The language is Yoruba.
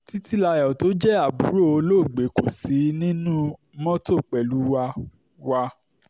títílayọ̀ tó jẹ́ àbúrò olóògbé kò sí nínú mọ́tò pẹ̀lú wa wa